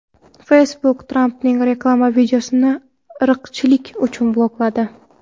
Facebook Trampning reklama videosini irqchilik uchun blokladi.